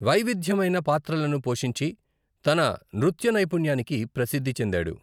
వైవిధ్యమైన పాత్రలను పోషించి, తన నృత్య నైపుణ్యానికి ప్రసిద్ధి చెందాడు.